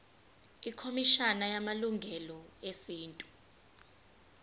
ikhomishana yamalungelo esintu